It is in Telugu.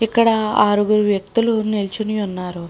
ఇక్కడ ఆరుగురు వ్యక్తులు నుంచొని ఉన్నారు.